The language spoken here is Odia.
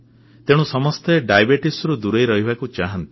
ତେଣୁ ସମସ୍ତେ ମଧୁମେହରୁ ଦୂରେଇ ରହିବାକୁ ଚାହାଁନ୍ତି